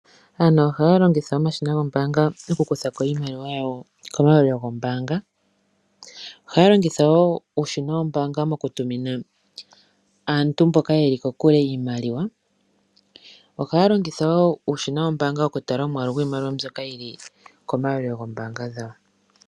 Aantu ohaya longitha omashina goombaanga okukutha ko iimaliwa komayalulilo gawo. Ohaya longitha woo uushina wombaanga okutumina aantu mboka ye li kokule iimaliwa osho wo okutala omwaalu gwiimaliwa mbyoka yi li komayalulilo gawo goombaanga.